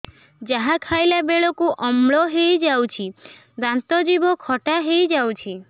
ଯାହା ଖାଇଲା ବେଳକୁ ଅମ୍ଳ ହେଇଯାଉଛି ଦାନ୍ତ ଜିଭ ଖଟା ହେଇଯାଉଛି